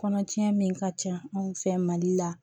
Kɔnɔcɛ min ka ca anw fɛ mali la